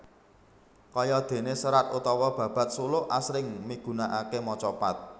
Kaya déné serat utawa babad suluk asring migunakaké macapat